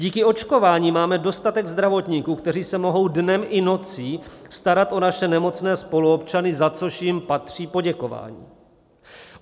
Díky očkování máme dostatek zdravotníků, kteří se mohou dnem i nocí starat o naše nemocné spoluobčany, za což jim patří poděkování.